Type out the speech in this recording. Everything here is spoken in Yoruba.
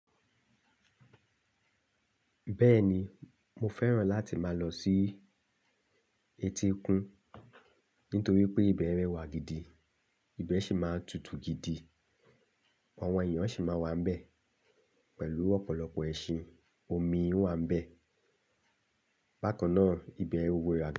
Bẹ́ẹ̀ni, mo fẹ́ràn láti máa lọ sí etíkun nítorí pé ibẹ̀ rẹwà gidi, ibẹ̀ sì máa tutù gidi, àwọn èèyàn sì máa wà níbẹ̀ pẹ̀lú ọ̀pọ̀lọpọ̀ ẹṣin, omi wà níbẹ̀, bákan náà ibẹ̀ wúwo rẹwà.